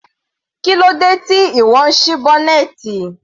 Kílódé tí ìwọ ń sí bọ́nẹ́ẹ́tì?